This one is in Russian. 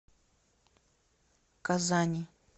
казани